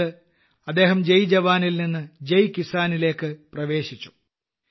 അതായത് അദ്ദേഹം ജയ് ജവാനിൽ നിന്ന് ജയ് കിസാനിലേയ്ക്ക് പ്രവേശിച്ചു